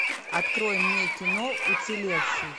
открой мне кино уцелевший